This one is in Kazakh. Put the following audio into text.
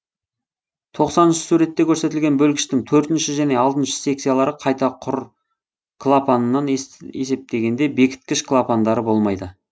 тоқсаныншы суретте көрсетілген бөлгіштің төртінші және алтыншы секциялары қайта құр клапанынан есептегенде бекіткіш клапандары болмайды